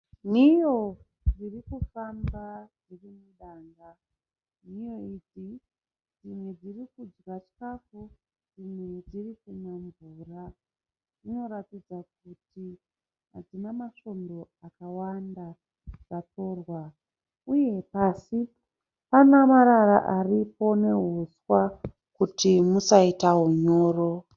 Nhiyo dzirikufamba dzirimudanga. Nhiyo idzi dzimwe dzirikudya chikafu dzimwe dzirikunwa mvura. Dzinoratidza kuti hadzina masvondo akawanda dzatorwa . Uye pasi pana marara aripo nehuswa kuti musaita hunyoro.